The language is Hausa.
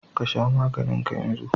Ka sha maganin ka yanzu!